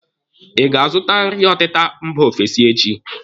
Ị ga-azụta nri ọtịta mba ofesi echi?